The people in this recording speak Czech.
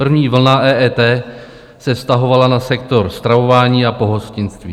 První vlna EET se vztahovala na sektor stravování a pohostinství.